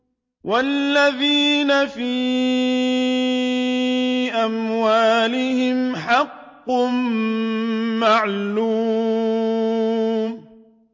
وَالَّذِينَ فِي أَمْوَالِهِمْ حَقٌّ مَّعْلُومٌ